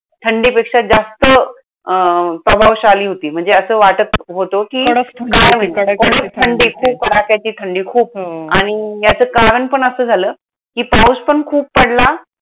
थंडीपेक्षा जास्त अं प्रभावशाली होती. म्हणजे असं वाटत होतं कि, कडक थंडी कडक थंडी होती कडक थंडी खूप कडाक्याची थंडी खूप हो आणि याचं कारण पण असं झालं, कि पाऊस पण खूप पडला.